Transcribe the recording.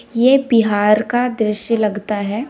ये बिहार का दृश्य लगता है।